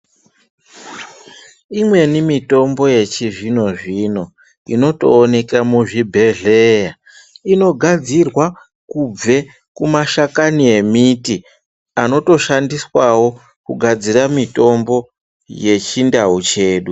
Imweni mitombo yechizvino zvino inotoonekw muchibhedhlee inogadzirwa kubve kumashakani emiti anotoshandiswawo kugadzira mutombo yechindau chedu.